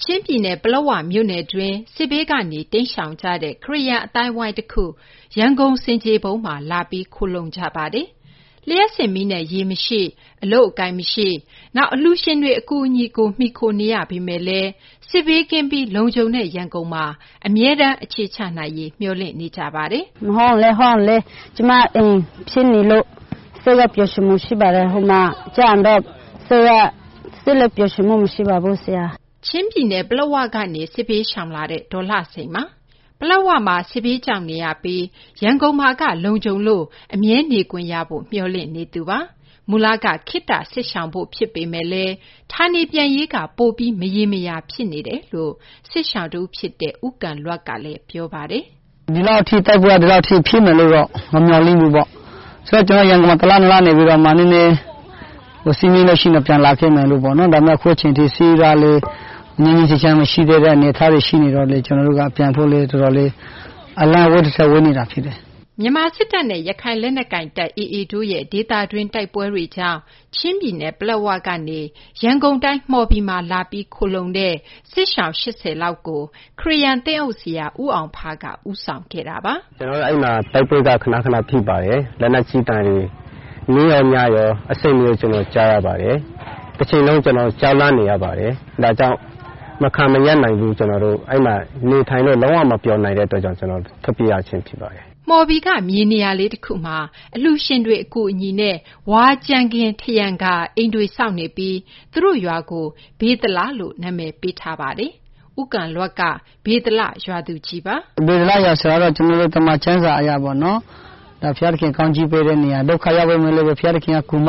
ချင်းပြည်နယ် ပလက်ဝမြို့နယ်တွင်း စစ်ဘေးကနေ တိမ်းရှောင်ကြတဲ့ ခရစ်ယာန် အသိုင်းအဝိုင်းတခု ရန်ကုန် ဆင်ခြေဖုံးမှာ လာပြီး ခိုလှုံနေကြပါတယ်။ လျှပ်စစ်မီးနဲ့ ရေမရှိ၊ အလုပ်အကိုင်မရှိ၊ နောက် အလှူရှင်တွေ အကူအညီကို မှီခိုနေရပေမယ့်လည်း စစ်ဘေးကင်းပြီး လုံခြုံတဲ့ ရန်ကုန်မှာ အခြေချနိုင်ရေး မျှော်လင့်နေကြပါတယ်။ အပြည့်အစုံကို မသိင်္ဂီထိုက် တင်ပြပေးထားပါတယ်။ “ကျမအိမ်ဖြစ်နေလို့ စိတ်လက် ပျော်ရွှင်မှု ရှိပါတယ်။ ဟိုမှာရောက်တော့ စိတ်လက် ပျော်ရွှင်မှု မရှိပါဘူးဆရာ။ ဒီမှာရောက်တော့ တသက်လုံးနေရမယ် ထင်ပါတယ်။” ချင်းပြည်နယ် ပလက်ဝကနေ စစ်ဘေးရှောင်လာတဲ့ ဒေါ်လှစိန်ပါ။ ပလက်ဝမှာ စစ်ဘေးကြောက်နေရပြီး ရန်ကုန်မှာက လုံခြုံလို့ အမြဲနေခွင့်ရဖို့ မျှော်လင့်နေသူပါ။ မူလက ခေတ္တ စစ်ရှောင်ဖို့ဖြစ်ပေမယ့် ဌာနေပြန်ရေးက ပိုပြီး မရေမရာ ဖြစ်နေတာလို့ စစ်ရှောင်တဦးဖြစ်တဲ့ ဦးကန်လွပ်ကလည်း ပြောပါတယ်။ “ဒီလောက်ထိဖြစ်မယ်လို့တော့ မမျှော်လင့်ဘူးပေါ့။ ဆိုတော့ ကျနော် ရန်ကုန်မှာ တလ နှစ်လ နေပြီးတော့မှ နည်းနည်း စစ်မရှိရင် ပြန်လာခဲ့မယ်ပေါ့နော်။ ဒါပေမယ့်လည်း အခုအချိန်ထိ စစ်ကလည်း ငြိမ်းငြိမ်းချမ်းချမ်း မရှိသေးတဲ့ အနေအထားတွေ ရှိနေတော့လည်း ကျနော်တို့က ပြန်လာရေး အလှမ်းဝေးသထက် ဝေးနေတာဖြစ်တယ်။” မြန်မာစစ်တပ်နဲ့ ရခိုင်လက်နက်ကိုင်တပ် AA တို့ရဲ့ ဒေသတွင်း တိုက်ပွဲတွေကြောင့် ချင်းပြည်နယ် ပလက်ဝကနေ ရန်ကုန်တိုင်း မှော်ဘီမှာ လာပြီး ခိုလှုံတဲ့ စစ်ရှောင် ၈၀ လောက်ကို ခရစ်ယာန် သင်းအုပ်ဆရာ ဦးအောင်ဖားက ဦးဆောင်ခဲ့တာပါ။ “ကျနော်တို့ အဲဒီမှာ တိုက်ပွဲက ခနခန ဖြစ်ပါတယ်။ လက်နက်ကြီးသံတွေ နေ့ရော ညရော အဆက်မပြတ် ကြားရပါတယ်။ တချိန်လုံး ကျနော်တို့ ကြောက်လန့်နေရပါတယ်။ ဒါကြောင့် မခံမရပ်နိုင်လို့ အဲဒီမှာ နေထိုင်လို့ လုံးဝ မပျော်နိုင်လို့ ကျနော်တို့ ထွက်ပြေးရခြင်း ဖြစ်ပါတယ်။” မှော်ဘီက မြေနေရာလေးတခုမှာ အလှူရှင်တွေ အကူအညီနဲ့ ဝါးကြမ်းခင်း ထရံကာ အိမ်တွေဆောက်နေပြီး သူတို့ရွာကို ဗေသလလို့ နာမည်ပေးထားပါတယ်။ ဦးကန်လွပ်က ဗေသလ ရွာသူကြီးပါ။ “ဗေသလရွာဆိုတာကတော့ ကျနော်တို့ သမ္မာကျမ်းစာအရပေါ့နော် ဘုရားသခင် ကောင်းချီးပေးတဲ့နေရာ၊ ဒုက္ခရောက်နေသူတွေကို ဘုရားသခင်က ကူမ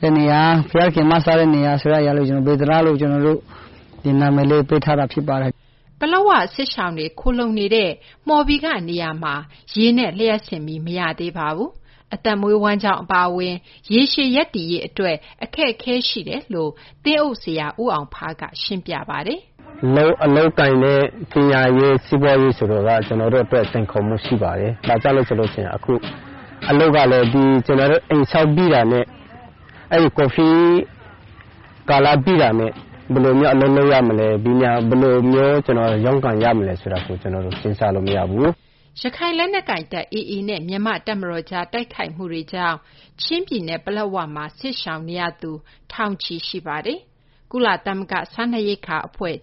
တဲ့နေရာ ဘုရားသခင် မစတဲ့နေရာ ဗေသလလို့ ဒီလို နာမည်လေးပေးထားတာ ဖြစ်ပါတယ်။ ဒီမှာတော့ ကျနော်တို့ ဆက်ပြီးတော့ပဲ နေဖို့ ကျနော်တို့က ဆုတောင်းထားပါတယ်။” ပလက်ဝ စစ်ရှောင်တွေ ခိုလှုံနေတဲ့ မှော်ဘီကနေရာမှာ ရေနဲ့ လျှပ်စစ်မီး မရသေးပါဘူး။ အသက်မွေးဝမ်းကျောင်း အပါအဝင် ရေရှည်ရပ်တည်ရေး အတွက်လည်း အခက်အခဲတွေ ရှိတယ်လို့ သင်းအုပ်ဆရာ ဦးအောင်ဖားက ရှင်းပြပါတယ်။ “အလုပ်အကိုင်နဲ့ ပညာရေး၊ စီးပွားရေး ဆိုတာက ကျနော်တို့အတွက် စိန်ခေါ်မှု ရှိပါတယ်။ အလုပ်ကလည်း ကျနော်တို့ အိမ်ဆောက်ပြီးတာနဲ့ ကိုဗစ်ကာလ ပြီးတာနဲ့ ဘယ်လိုမျိုး အလုပ်လုပ်ရမလဲ၊ ဘယ်လိုမျိုး ကျနော်တို့ ရုန်းကန်ရမလဲ ဆိုတာ ကျနော်တို့ စဉ်းစားလို့မရဘူး။” ရခိုင်လက်နက်ကိုင်တပ် AA နဲ့ မြန်မာ့တပ်မတော်ကြား တိုက်ခိုက်မှုတွေကြောင့် ချင်းပြည်နယ် ပလက်ဝမှာ စစ်ရှောင်နေရသူ ထောင်ချီရှိပါတယ်။ ကုလသမဂ္ဂ စားနပ်ရိက္ခာအဖွဲ့ က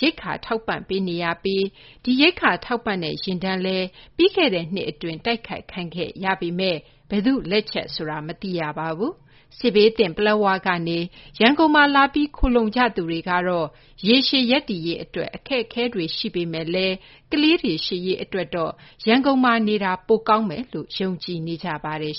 ရိက္ခာထောက်ပံ့ပေးနေပြီး ဒီ ရိက္ခာထောက်ပံ့တဲ့ ယာဉ်တန်းလည်း ပြီးခဲ့တဲ့နှစ်အတွင်း တိုက်ခိုက်ခံရပေမယ့် ဘယ်သူ့လက်ချက်ဆိုတာ မသိရပါဘူး။ စစ်ဘေးသင့် ပလက်ဝကနေ ရန်ကုန်မှာလာပြီး ခိုလှုံကြသူတွေကတော့ ရေရှည် ရပ်တည်ရေးအတွက် အခက်အခဲတွေ ရင်ဆိုင်ရမှာ ဖြစ်ပေမယ့်လည်း ကလေးတွေ ရှေ့ရေးအတွက် ရန်ကုန်မှာနေတာ ပိုကောင်းမယ်လို့ ယုံကြည်နေကြပါတယ်